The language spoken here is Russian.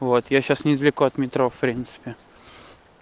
вот я сейчас недалеко от метро в принципе